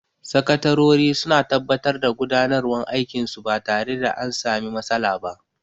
Sakatarori suna tabbatar da gudanarwan aikin su ba tare da an sami matsala ba